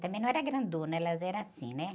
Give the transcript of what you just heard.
Também não era grandona, elas eram assim, né?